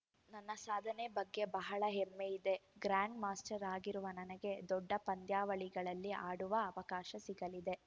ನನ್ನ ಸಾಧನೆ ಬಗ್ಗೆ ಬಹಳ ಹೆಮ್ಮೆ ಇದೆ ಗ್ರ್ಯಾಂಡ್‌ ಮಾಸ್ಟರ್‌ ಆಗಿರುವ ನನಗೆ ದೊಡ್ಡ ಪಂದ್ಯಾವಳಿಗಳಲ್ಲಿ ಆಡುವ ಅವಕಾಶ ಸಿಗಲಿದೆ